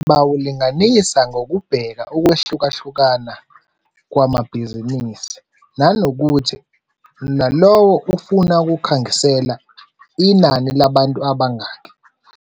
Bawulinganisa ngokubheka ukwehlukahlukana kwamabhizinisi, nanokuthi nalowo ufuna ukukhangisela inani labantu abangaki.